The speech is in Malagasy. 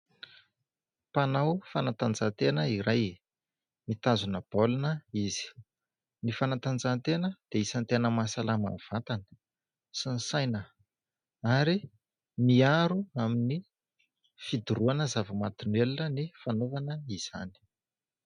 Mpanao fanatanjahatena iray, mitazona baolina izy, ny fanatanjahatena dia isany tena mahasalama ny vatana sy ny saina ary miaro amin'ny fidorohana zava-mahadomelina ny fanaovana izany.